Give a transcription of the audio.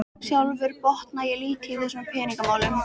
Sjálfur botna ég lítið í þessum peningamálum